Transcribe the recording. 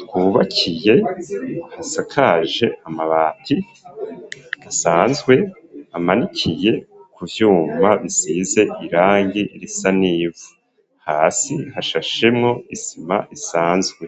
twubakiye hasakaje amabati asanzwe amanikiye ku vyuma bisize irangi risa n'ivu hasi hashashemwo isima isanzwe